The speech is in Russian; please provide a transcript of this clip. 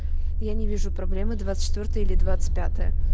я не вижу проблемы двадцать четвёртое или двадцать пятое